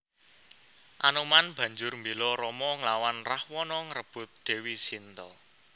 Anoman banjur mbéla Rama nglawan Rahwana ngrebut Dèwi Sinta